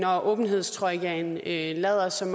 åbenhedstrojkaen lader som